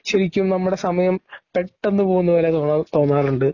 ശരിക്കും നമ്മുടെ സമയം പെട്ടെന്ന് പോകുന്നതുപോലെ തോന്നാറുണ്ട്.